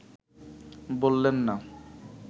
বললেন না